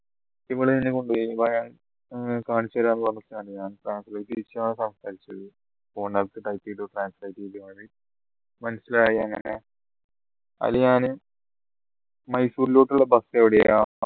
ഏർ കാണിച്ചരാ പറഞ്ഞു translate ചെയ്തു മനസ്സിലായി അങ്ങനെ അയിൽ ഞാൻ മൈസൂരിലോട്ടുള്ള bus എവിടെയാ